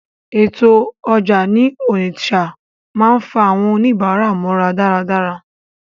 Ètò ọjà ní Onitsha máa ń fa àwọn oníbàárà mọ́ra dáradára.